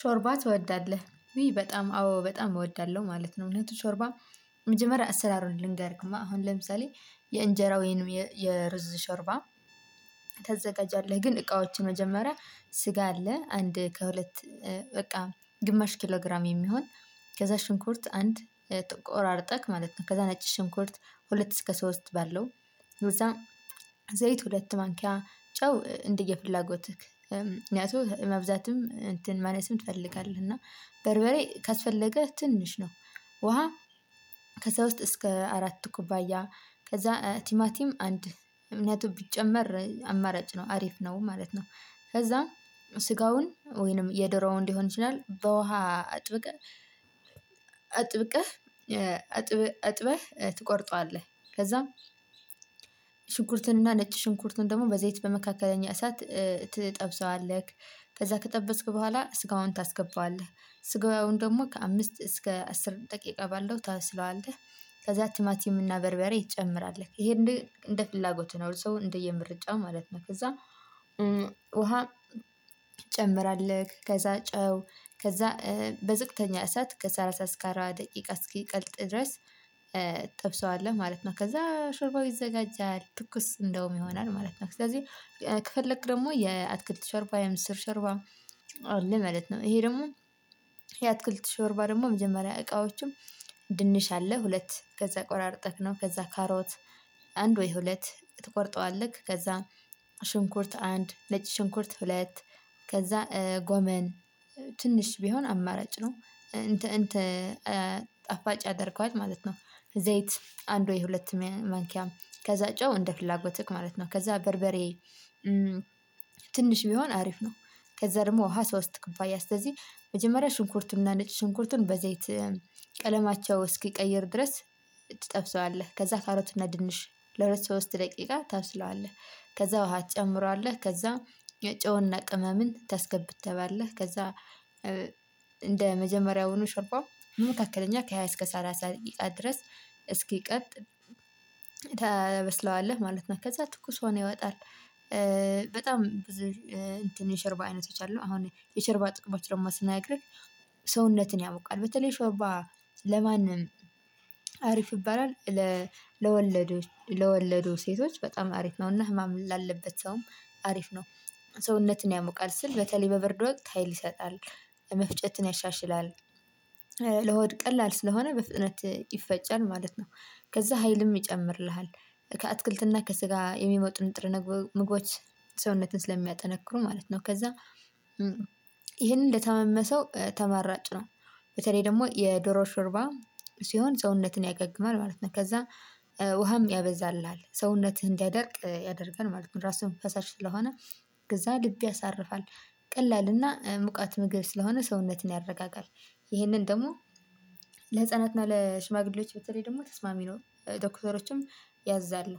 ሾርባ ትወዳለህ? ውይ በጣም አዎ በጣም እወዳለሁ ማለት ነው። እውነቱ ሾርባ መጀመሪያ አሰራሩን ልንገርህማ። አሁን ለምሳሌ የእንጀራ ወይም የሩዝ ሾርባ ታዘጋጃለህ። ግን እቃዎችን መጀመሪያ ስጋ አለ። አንድ ከሁለት በቃ ግማሽ ኪሎ ግራም የሚሆን ከዛ ሽንኩርት አንድ ቆራርጠህ ማለት ነው። ከዛ ነጭ ሽንኩርት ከሁለት እስከ ሶስት ባለው፤ ከዛም ዘይት ሁለት ማንኪያ፣ ጨው እንደየፍላጎትህ። ምክንያቱም መብዛትም እንትን ማነስም ትፈልጋለህ እና በርበሬ ካስፈለገህ ትንሽ ነው። ውሃ ከዛ ውስጥ እስከ አራት ኩባያ፤ ከዛ ቲማቲም አንድ እምነቱ ቢጨመር አማራጭ ነው። አሪፍ ነው ማለት ነው። ከዛ ስጋውን ወይም የዶሮውን ሊሆን ይችላል። በውሃ አጥብቀህ አጥበህ ትቆርጠዋለህ። ከዛም ሽንኩርቱን እና ነጭ ሽንኩርቱን ደግሞ በዘይት በመካከለኛ እሳት ትጠብሰዋለህ። ከዛ ከጠበስክ በኋላ ስጋውን ታስገባዋለህ። ስጋውን ደግሞ ከአምስት እስከ አስር ደቂቃ ባለው ታበስለዋለህ። ከዛ ቲማቲም እና በርበሬ ትጨምራለህ። ይሄ እንደ ፍላጎትህ ነው። ሰው እንደየ ምርጫው ማለት ነው። ከዛ ውሃ ትጨምራለህ። ከዛ ጨው፤ ከዛ በዝቅተኛ እሳት ከሰላሳ እስከ አራባ ደቂቃ እስኪቀልጥ ድረስ ትጠብሰዋለህ ማለት ነው። ከዛ ሾርባው ይዘጋጃል። ትኩስ እንደውም ይሆናል ማለት ነው። ስለዚህ ከፈለክ ደግሞ የአትክልት ሾርባ፣ የምስር ሾርባ አለ ማለት ነው። ይሄ ደግሞ የአትክልት ሾርባ ደግሞ መጀመሪያ እቃዎቹም፤ ድንች አለ ሁለት። ከዛ ቆራርጠህ ነው። ከዛ ካሮት አንድ ወይም ሁለት ትቆርጠዋለህ። ከዛ ሽንኩርት አንድ፤ ነጭ ሽንኩርት ሁለት፤ ከዛ ጎመን ትንሽ ቢሆን አማራጭ ነው። እንትን ጣፋጭ ያደርገዋል ማለት ነው። ዘይት አንድ ወይም ሁለት ማንኪያ፤ ከዛ ጨው እንደ ፍላጎትህ ማለት ነው። ከዛ በርበሬ ትንሽ ቢሆን አሪፍ ነው። ከዛ ደግሞ ውሃ ሶስት ኩባያ፤ ስለዚህ መጀመሪያ ሽንኩርቱን እና ነጭ ሽንኩርቱን በዘይት ቀለማቸው እስኪቀይር ድረስ ትጠብሰዋለህ። ከዛ ካሮት እና ድንች ለሁለት ሶስት ደቂቃ ታበስለዋለህ። ከዛ ውሃ ትጨምራለህ። ከዛ ጨውና ቅመምን ታስገባለህ። ከዛ እንደ መጀመሪያውኑ ሾርባ መካከለኛ ከሃያ እስከ ሰላሳ ደቂቃ ድረስ እስኪቀልጥ ታበስለዋለህ ማለት ነው። ከዛ ትኩስ ሆኖ ይወጣል። በጣም ብዙ እንተን የሾርባ አይነቶች አሉ። አሁን የሾርባ ጥቅሞች ደግሞ ስነግርህ ሰውነትን ያሞቃል። በተለይ ሾርባ ለማንም አሪፍ ይባላል። ለወለዱ ሴቶች በጣም አሪፍ ነው እና ህመም ላለበት ሰውም አሪፍ ነው። ሰውነትን ያሞቃል ስል በተለይ በብርድ ወቅት ሀይል ይሰጣል። መፍጨትን ያሻሽላል። ለሆድ ቀላል ስለሆነ በፍጥነት ይፈጫል ማለት ነው። ከዛ ሀይልም ይጨምርልሃል። ከአትክልትና ከስጋ የሚሞጡ ንጥረ ምግቦች ሰውነትን ስለሚያጠነክሩ ማለት ነው። ከዛ ይሄንን ለታመመ ሰው ተመራጭ ነው። በተለይ ደግሞ የዶሮ ሾርባ ሲሆን ሰውነትን ያገግማል ማለት ነው። ከዛ ውሃም ያበዛልሃል። ሰውነትህ እንዲያደርቅ ያደርጋል ማለት ነው። ራሱም ፈሳሽ ስለሆነ ከዛ ልብ ያሳርፋል። ቀላልና ሙቀት ምግብ ስለሆነ ሰውነትን ያረጋጋል። ይሄንን ደግሞ ለህፃናትና ለሽማግሌዎች በተለይ ደግሞ ተስማሚ ነው። ዶክተሮችም ያዛሉ።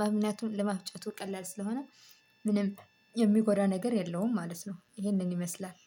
ምክንያቱም ለመፍጨቱ ቀላል ስለሆነ ምንም የሚጎዳ ነገር የለውም ማለት ነው። ይሄንን ይመስላል።